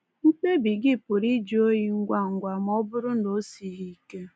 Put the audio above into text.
Mkpebi gị pụrụ ịjụ oyi ngwa ngwa ma ọ bụrụ na o sighị ike.